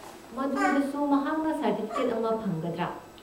ꯃꯗꯨꯗꯁꯨ ꯃꯍꯥꯛꯅ ꯁꯔꯇꯤꯐꯤꯀꯦꯠ ꯑꯃ ꯐꯪꯒꯗ꯭ꯔꯥꯥ?